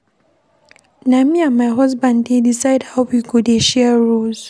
Na me and my husband dey decide how we go dey share roles.